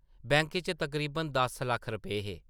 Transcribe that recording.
Bank च तकरीबन दस लक्ख रपेऽ हे ।